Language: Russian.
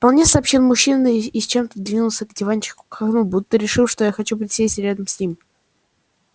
вполне сообщил мужчина и зачем-то сдвинулся по диванчику к окну будто решив что я хочу присесть рядом с ним